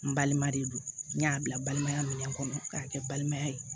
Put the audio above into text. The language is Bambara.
N balima de don n y'a bila balimaya minɛn kɔnɔ k'a kɛ balimaya ye